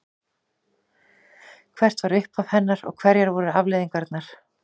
Hvert var upphaf hennar og hverjar voru afleiðingarnar?